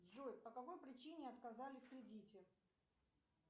джой по какой причине отказали в кредите